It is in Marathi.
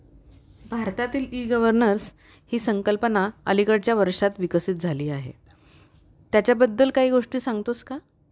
भारतातील ई-गव्हर्नन्स हि संकल्पना अलीकडच्या वर्षात विकसित झाली आहे. त्याच्या बद्दल काही गोष्टी सांगतोस का ?